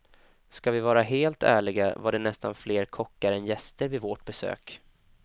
Ska vi vara helt ärliga var det nästan fler kockar än gäster vid vårt besök.